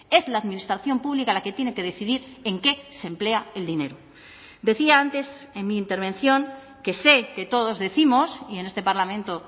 es la administración pública la que tiene que decidir en qué se emplea el dinero decía antes en mi intervención que sé que todos décimos y en este parlamento